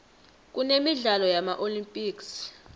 kunemidlalo yama olympics